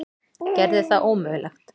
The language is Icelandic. Gerði það ómögulegt.